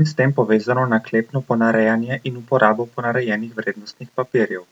in s tem povezano naklepno ponarejanje in uporabo ponarejenih vrednostnih papirjev.